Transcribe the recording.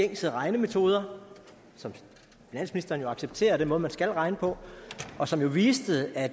gængse regnemetoder som finansministeren jo accepterer er den måde man skal regne på og som jo viste at